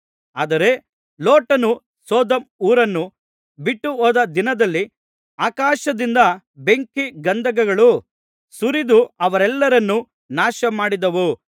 ಆದರೆ ಲೋಟನು ಸೊದೋಮ್ ಊರನ್ನು ಬಿಟ್ಟುಹೋದ ದಿನದಲ್ಲಿ ಆಕಾಶದಿಂದ ಬೆಂಕಿ ಗಂಧಕಗಳು ಸುರಿದು ಅವರೆಲ್ಲರನ್ನು ನಾಶಮಾಡಿದವು